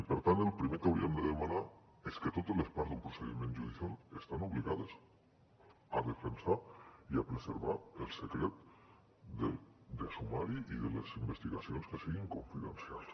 i per tant el primer que hauríem de demanar és que totes les part d’un procediment judicial estan obligades a defensar i a preservar el secret de sumari i de les investigacions que siguin confidencials